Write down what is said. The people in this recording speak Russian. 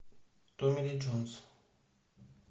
томми ли джонс